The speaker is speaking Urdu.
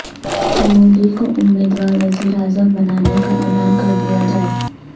مودی کو امیدوار وزیراعظم بنانے کا اعلان کر دیا جائے